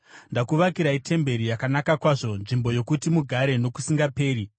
Ndakuvakirai temberi yakanaka kwazvo, nzvimbo yokuti mugare nokusingaperi.”